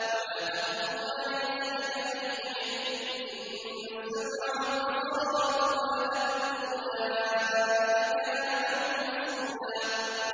وَلَا تَقْفُ مَا لَيْسَ لَكَ بِهِ عِلْمٌ ۚ إِنَّ السَّمْعَ وَالْبَصَرَ وَالْفُؤَادَ كُلُّ أُولَٰئِكَ كَانَ عَنْهُ مَسْئُولًا